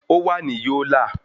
Ó wà ní Yólà